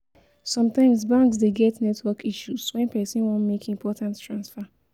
Sometimes banks de get network issues when persin won make important transfer